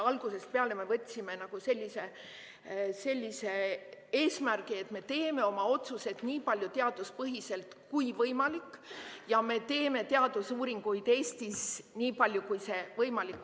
Algusest peale me võtsime sellise eesmärgi, et me teeme oma otsused nii palju teaduspõhiselt, kui võimalik, ja me teeme teadusuuringuid Eestis nii palju, kui on võimalik.